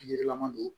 Yirilama don